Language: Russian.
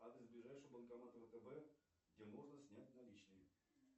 адрес ближайшего банкомата втб где можно снять наличные